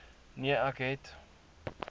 nee ek het